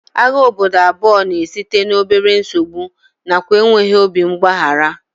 Agha obodo abụọ na-esite n'obere nsogbu nakwa enweghị obi mgbaghara